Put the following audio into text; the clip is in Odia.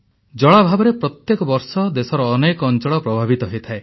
ଜଳାଭାବରେ ପ୍ରତିବର୍ଷ ଦେଶର ଅନେକ ଅଂଚଳ ପ୍ରଭାବିତ ହୋଇଥାଏ